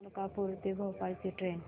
मलकापूर ते भोपाळ ची ट्रेन